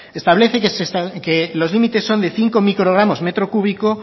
establece que los límites son de cinco microgramos metro cúbico